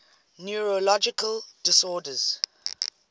neurological disorders